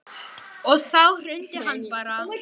Og þá hrundi hann bara.